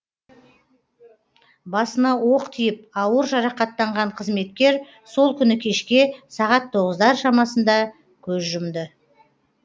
басына оқ тиіп ауыр жарақаттанған қызметкер сол күні кешке сағат тоғыздар шамасында көз жұмды